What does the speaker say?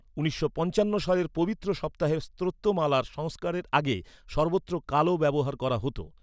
উনিশশো পঞ্চান্ন সালের পবিত্র সপ্তাহের স্তোত্রমালার সংস্কারের আগে সর্বত্র কালো ব্যবহার করা হত।